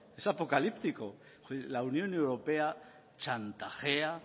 es apocalíptico la unión europea chantajea